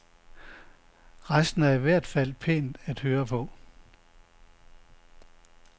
Resten er i hvert fald pænt at høre på.